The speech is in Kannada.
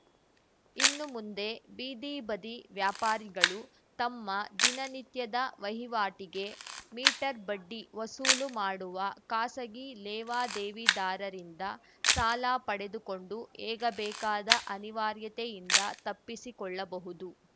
ಇನ್ನು ಮುಂದೆ ಬೀದಿ ಬದಿ ವ್ಯಾಪಾರಿಗಳು ತಮ್ಮ ದಿನನಿತ್ಯದ ವಹಿವಾಟಿಗೆ ಮೀಟರ್‌ ಬಡ್ಡಿ ವಸೂಲು ಮಾಡುವ ಖಾಸಗಿ ಲೇವಾದೇವಿದಾರರಿಂದ ಸಾಲ ಪಡೆದುಕೊಂಡು ಏಗಬೇಕಾದ ಅನಿವಾರ್ಯತೆಯಿಂದ ತಪ್ಪಿಸಿಕೊಳ್ಳಬಹುದು